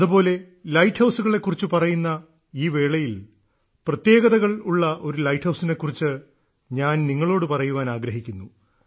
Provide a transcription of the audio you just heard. അതുപോലെ ലൈറ്റ് ഹൌസുകളെ കുറിച്ച് പറയുന്ന ഈ വേളയിൽ പ്രത്യേകതകളുള്ള ലൈറ്റ് ഹൌസിനെ കുറിച്ച് ഞാൻ നിങ്ങളോട് പറയുവാൻ ആഗ്രഹിക്കുന്നു